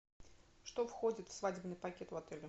что входит в свадебный пакет в отеле